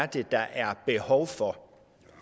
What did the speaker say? det er der er behov for